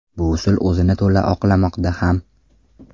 Bu usul o‘zini to‘la oqlamoqda ham.